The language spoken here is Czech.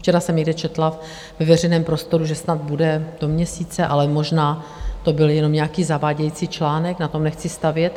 Včera jsem někde četla ve veřejném prostoru, že snad bude do měsíce, ale možná to byl jenom nějaký zavádějící článek, na tom nechci stavět.